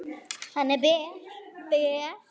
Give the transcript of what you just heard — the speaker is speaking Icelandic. Hann er ber, ber.